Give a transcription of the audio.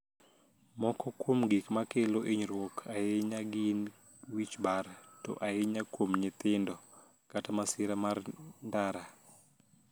Moko kuom gik makelo hiniyruok ahiniya gini wich bar (to ahiniya kuom niyithinido) kata masira mar nidara.